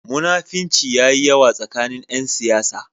Munafinci ya yi yawa tsakanin ƴan siyasa.